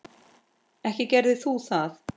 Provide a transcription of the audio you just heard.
Ekki gerir þú það!